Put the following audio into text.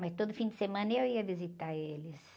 Mas todo fim de semana eu ia visitar eles.